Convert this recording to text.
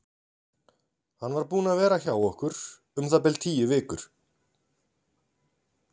Hann var búinn að vera hjá okkur um það bil tíu vikur.